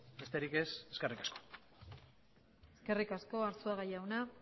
besterik ez eskerrik asko eskerrik asko arzuaga jauna